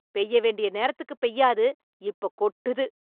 பெய்ய வேண்டிய நேரத்துக்கு பெய்யாது, இப்போ கொட்டுது